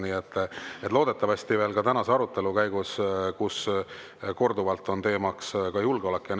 Loodetavasti veel ka tänase arutelu käigus, sest korduvalt on teemaks ka julgeolek.